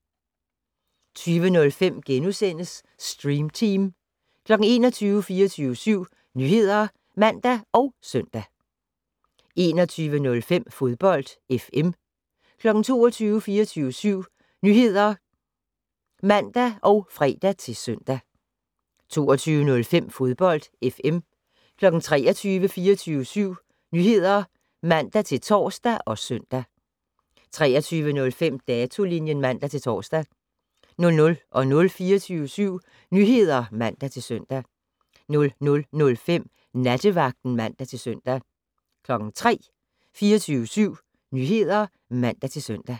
20:05: Stream Team * 21:00: 24syv Nyheder (man og søn) 21:05: Fodbold FM 22:00: 24syv Nyheder (man og fre-søn) 22:05: Fodbold FM 23:00: 24syv Nyheder (man-tor og søn) 23:05: Datolinjen (man-tor) 00:00: 24syv Nyheder (man-søn) 00:05: Nattevagten (man-søn) 03:00: 24syv Nyheder (man-søn)